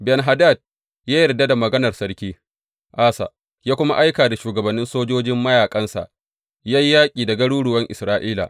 Ben Hadad ya yarda da maganar Sarki Asa, ya kuma aika shugabannin sojojin mayaƙansa ya yi yaƙi da garuruwan Isra’ila.